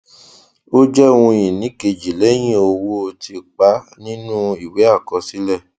ó jẹ ohun ìní keji lẹhìn owó tìpa nínú ìwé àkọsílẹ